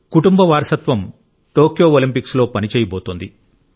కుటుంబ వారసత్వం టోక్యో ఒలింపిక్స్లో పని చేయబోతోంది